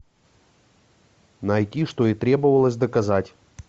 найти что и требовалось доказать